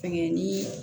Fɛngɛ ni